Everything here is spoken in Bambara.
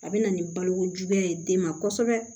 A bɛ na ni balokojuguya ye den ma kosɛbɛ